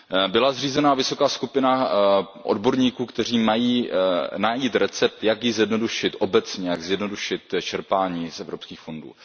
Byla zřízena vysoká skupina odborníků, kteří mají najít recept, jak ji zjednodušit obecně, jak zjednodušit čerpání z evropských fondů.